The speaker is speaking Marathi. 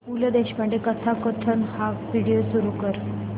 पु ल देशपांडे कथाकथन हा व्हिडिओ सुरू कर